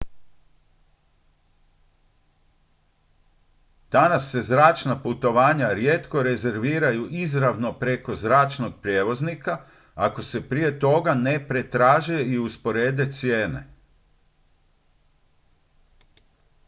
danas se zračna putovanja rijetko rezerviraju izravno preko zračnog prijevoznika ako se prije toga ne pretraže i usporede cijene